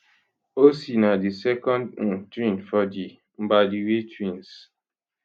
ocee na di second um twin for di mbadiwe twins